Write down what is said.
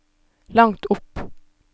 langt opp